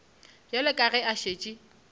bjale ka ge a šetše